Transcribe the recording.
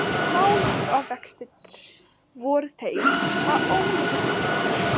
Málavextir voru þeir að Ólafur nokkur